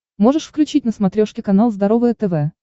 можешь включить на смотрешке канал здоровое тв